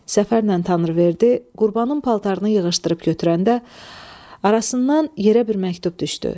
Səfərlə Tanrıverdi Qurbanın paltarını yığışdırıb götürəndə arasından yerə bir məktub düşdü.